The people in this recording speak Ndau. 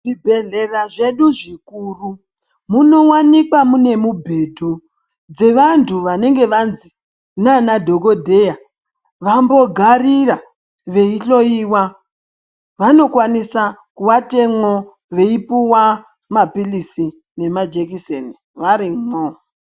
Zvibhedhlera zvedu zvikuru munowanikwa mune mubhedhu dzevantu wanenge wanzi nanadhokodheya wambogarira weihloiwa. Wanokwanisa kuvatemwo weipuwa mapilitsi nemajekiseni warimwo.